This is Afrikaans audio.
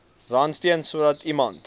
randstene sodat iemand